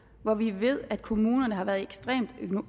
hvor vi ved at kommunerne har været ekstremt